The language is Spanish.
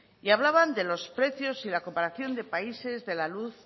y hablaban de los precios y la comparación de países de la luz